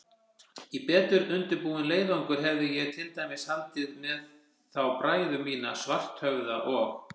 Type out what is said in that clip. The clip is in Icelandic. Í betur undirbúinn leiðangur hefði ég til dæmis haldið með þá bræður mína, Svarthöfða og